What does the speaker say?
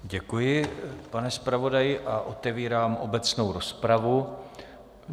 Děkuji pane zpravodaji a otevírám obecnou rozpravu.